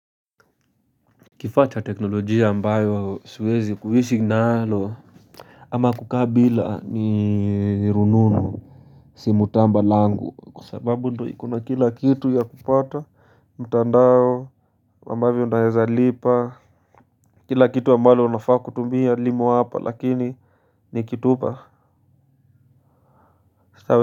Kifaa cha teknolojia ambayo siwezi kuishi nalo. Ama kukaa bila ni rununu. Si mutamba langu kwa sababu ndio iko na kila kitu ya kupata mtandao ambavyo naweza lipa kila kitu ambalo unafaa kutumia limo hapa lakini nikitupa.